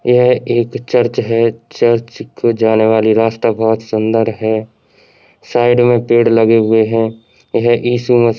यह एक चर्च हैचर्च को जाने वाली रास्ता बहुत सुंदर है साइड में पेड़ लगे हुए है। यह इशू म् --